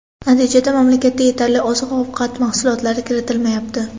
Natijada mamlakatda yetarli oziq-ovqat mahsulotlari kiritilmayapti.